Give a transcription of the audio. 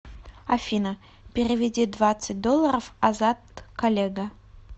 афина переведи двадцать долларов азат коллега